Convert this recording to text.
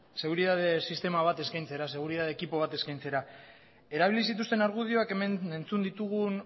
seguridade sistema bat eskaintzera seguridade ekipo bat eskaintzera erabili zituzten argudioak hemen entzun ditugun